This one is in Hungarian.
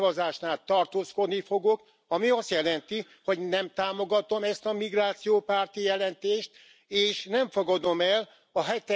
A végszavazásnál tartózkodni fogok, ami azt jelenti, hogy nem támogatom ezt a migrációpárti jelentést, és nem fogadom el a